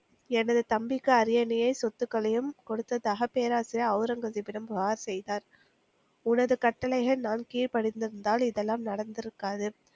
எனது தம்பிக்கு அரியணையை சொத்துக்களையும் கொடுத்ததாக பேரரசா் ஒளரங்கசீப்பிடம் புகார் செய்தார். உனது கட்டளையை நான் கீழ்பணிந்திருந்தால் இதெல்லாம் நடந்திருக்காது